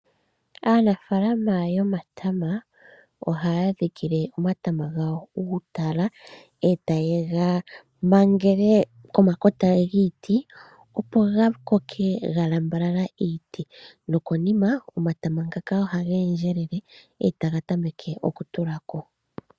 Aanafaalama yomatana ohaya dhikile omatama gawo uutala , etayega mangele komakota giiti opo gakoke galambaalala iiti , nokonima omatama ngaka ohaga endelele etaga tameke okutulako.